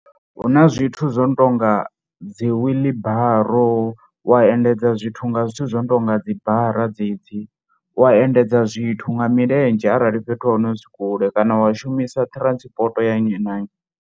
Hu na zwithu zwo no tou nga dzi wheelbarrow wa endedza zwithu nga zwithu zwo no tou nga dzibara dzedzi wa endedza zwithu nga milenzhe arali fhethu ha hone hu si kule kana wa shumisa transport ya nnyi na nnyi.